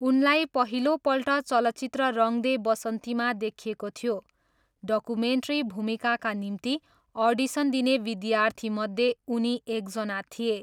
उनलाई पहिलोपल्ट चलचित्र रङ दे बसन्तीमा देखिएको थियो, डकुमेन्ट्री भूमिकाका निम्ति अडिसन दिने विद्यार्थीमध्ये उनी एकजना थिए।